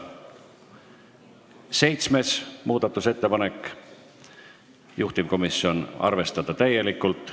Seitsmes muudatusettepanek, juhtivkomisjon: arvestada täielikult.